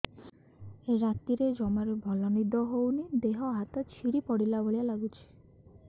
ରାତିରେ ଜମାରୁ ଭଲ ନିଦ ହଉନି ଦେହ ହାତ ଛିଡି ପଡିଲା ଭଳିଆ ଲାଗୁଚି